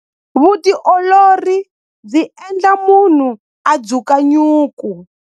Vutiolori byi endla munhu a dzuka nyuku.